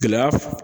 Gɛlɛya